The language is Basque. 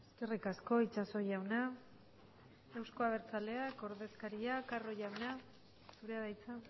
decir eskerri asko itxaso jauna euzko abertzaleak taldearen ordezkaria carro jauna zurea da hitza